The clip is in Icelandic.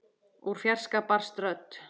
Úr fjarska barst rödd.